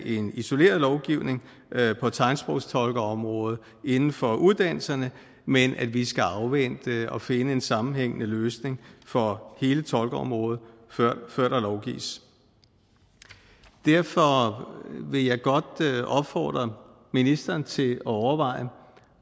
en isoleret lovgivning på tegnsprogstolkeområdet inden for uddannelserne men at vi skal afvente og finde en sammenhængende løsning for hele tolkeområdet før der lovgives derfor vil jeg godt opfordre ministeren til at overveje